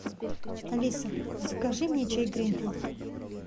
алиса закажи мне чай гринфилд